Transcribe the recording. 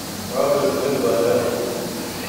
адрес рязань один